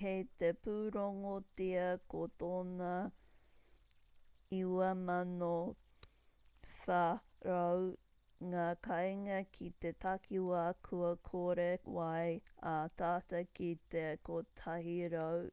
kei te pūrongotia ko tōna 9400 ngā kāinga ki te takiwā kua kore wai ā tata ki te 100